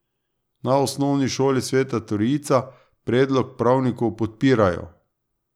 Na Osnovi šoli Sveta trojica predlog pravnikov podpirajo.